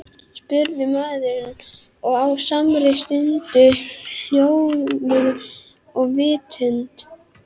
spurði maðurinn og á samri stundu hljómuðu í vitund